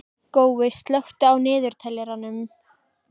Gói, slökktu á niðurteljaranum.